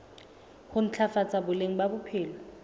ho ntlafatsa boleng ba bophelo